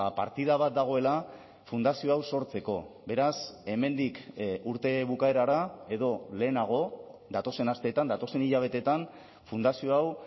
partida bat dagoela fundazio hau sortzeko beraz hemendik urte bukaerara edo lehenago datozen asteetan datozen hilabeteetan fundazio hau